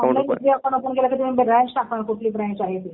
हो ऑनलाईन कुठलंही account open केलं तर तुम्ही ब्रँच टाकणार. कुठली ब्रँच आहे ती